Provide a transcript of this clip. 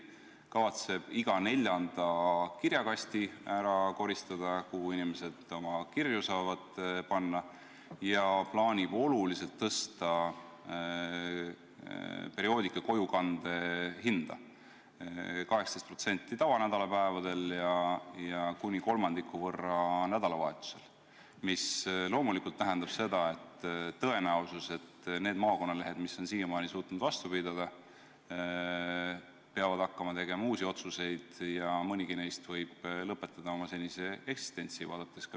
Ta kavatseb ära koristada iga neljanda kirjakasti, kuhu inimesed oma kirju saavad panna, ja plaanib oluliselt tõsta perioodika kojukande hinda: 18% argipäevadel ja kuni kolmandiku võrra nädalavahetustel, mis loomulikult tähendab seda, et tõenäosus, et need maakonnalehed, mis on siiamaani suutnud vastu pidada, peavad hakkama tegema uusi otsuseid ja mõnigi neist võib oma eksistentsi lõpetada.